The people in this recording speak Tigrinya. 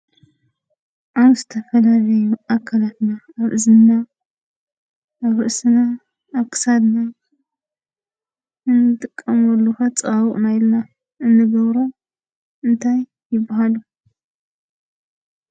ኣብ ዝተፈላለዩ ኣካላትና ኣብ እዝንና ፣ኣብ ርእስና ፣ኣብ ክሳድና ንጥቀመሉ ከፃባብቁና ኢልና እንገብሮም እንታይ ይባሃሉ?